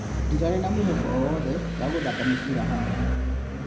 Ndirarĩ na mwĩhoko o-wothe wa gũthaka Mũbira haha.